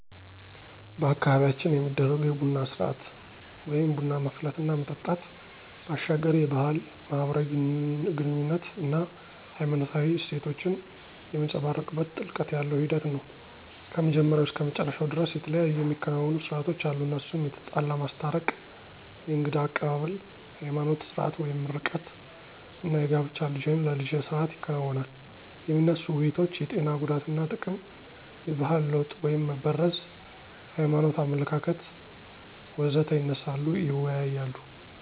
በአካባቢያችን የሚደረጉ የቡና ስርአት (ቡና ማፍላት እና መጠጣት) ባሻገር የባህል፣ ማህበራዊ ግኑኝነት አና ሃይማኖታዊ እሴቶችን የሚንፀባረቅበት ጥልቀት ያለው ሂደት ነው። ከመጀመሪያው እስከ መጨረሻው ደርስ የተለያዩ የሚከናወኑ ሰርአቶች አሉ እነሱም የተጣላ ማስታረቅ፣ የእንግዳ አቀባብል፣ የሀይማኖት ስርአት (ምርቃት) አና የጋብቻ ልጅህን ለልጀ ስርአት ይከናወናል። የሚነሱ ውይይቶች የጤና ጉዳትና ጥቅም፣ የባህል ለወጥ (መበረዝ) የሀይማኖት አመለካከት.... ወዘተ ይነሳሉ ይወያያሉ።